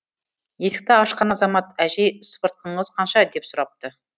есікті ашқан азамат әжей сыпыртқыңыз қанша деп сұрапты